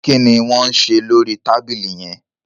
kini Wón ṣe lórí tábìlì yén?